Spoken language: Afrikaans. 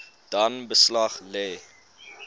dan beslag lê